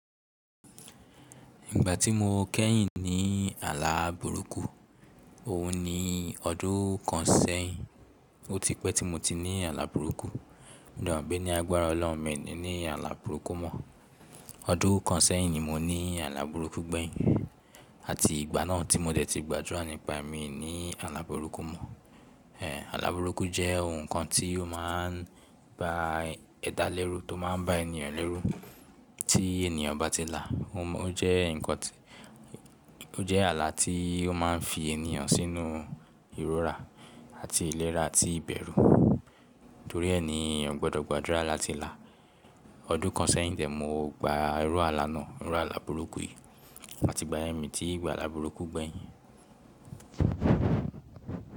Ìgbà tí mo kẹ́yìn ní ààlà burúkú, ohun ni ọdún kan sẹ́yìn ó ti pẹ́ tí mo ti ní ààlà burúkú. Mo de mo pé ní agbára ọlọ́run mi ní ààlà burúkú mọ. Ọdún kan sẹ́yìn ni mo ní ààlà burúkú gbẹ̀yìn àti ìgbà náà tí mo dẹ̀ ti gbàdúrà nípa mi ní ààlà burúkú mọ. Ehn, ààlà burúkú jẹ́ ohun kan tí ó máa ń ba ẹ̀dá lẹ́rú, tó máa ń ba ènìyàn lẹ́rú tí ènìyàn bá ti là. O jẹ́ nǹkan tí ó jẹ́ ààlà tí ó máa ń fi ènìyàn sínú ìrora àti ìlera àti ìbẹ̀rù. Torí ẹni èyàn gbọdọ̀ gbàdúrà láti là. Ọdún kan sẹ́yìn dẹ̀ mo gba irú ààlà náà, irú ààlà burúkú yìí àti ìgbà yen mi tí gba ààlà burúkú gbẹ̀yìn.